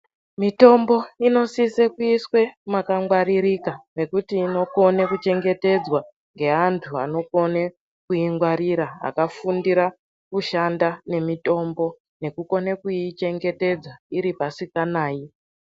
Mitombo inosise kuiswe makangwaririka mekuti inokone kuchengetedzwa ngeanhu anokona kuingwarira akafundira kushanda nemitombo nekukone kuyichengete iri pasinganayi.